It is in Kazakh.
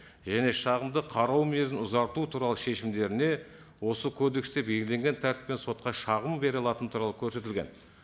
және шағымды қарау мерзімін ұзарту туралы шешімдеріне осы кодексте белгіленген тәртіппен сотқа шағым бере алатын туралы көрсетілген